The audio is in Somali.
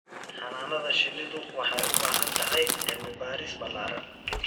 Xannaanada shinnidu waxay u baahan tahay cilmi baaris ballaaran.